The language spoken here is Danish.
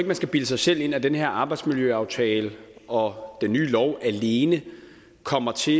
man skal bilde sig selv ind at den her arbejdsmiljøaftale og den nye lov alene kommer til